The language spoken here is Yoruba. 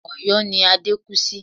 Ọ̀̀yọ́ ni Adé kú sí